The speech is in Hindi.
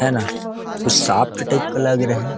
है ना कुछ सॉफ्ट टाइप का लग रहे।